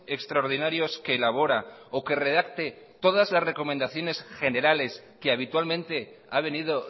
extraordinarios que elabora o que redacte todas las recomendaciones generales que habitualmente ha venido